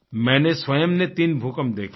मैनें स्वयं ने 3 भूकंप देखे हैं